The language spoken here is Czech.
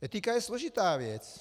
Etika je složitá věc.